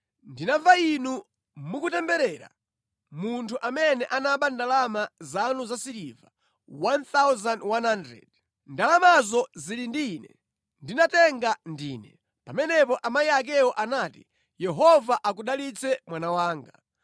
“Ndinamva inu mukutemberera munthu amene anaba ndalama zanu zasiliva 1,100. Ndalamazo zili ndi ine, ndinatenga ndine.” Pamenepo amayi akewo anati, “Yehova akudalitse mwana wanga!”